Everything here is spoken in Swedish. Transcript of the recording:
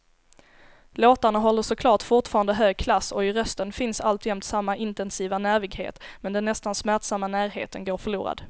Låtarna håller såklart fortfarande hög klass och i rösten finns alltjämt samma intensiva nervighet, men den nästan smärtsamma närheten går förlorad.